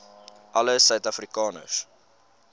alle suid afrikaners